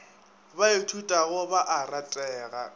ba ithutago ba a ratega